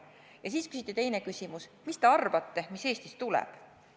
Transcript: Konverentsil küsiti teinegi küsimus: mis te arvate, mis Eestis tuleb?